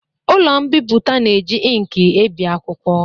Ụlọ mbipụta na-eji inki ebi akwụkwọ